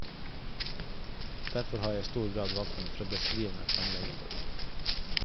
Derfor har jeg i stor grad valgt en beskrivende framlegging.